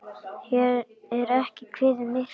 Hér er ekki kveðið myrkt.